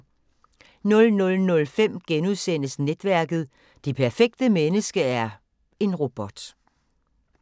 00:05: Netværket: Det perfekte menneske er en robot *